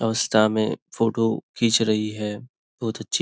अवस्था में फोटो खीच रही है बहुत अच्छी।